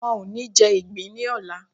Wọn ò ní jẹ ìgbín ní ọlà.